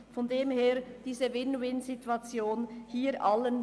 Daher dient diese Win-win-Situation allen.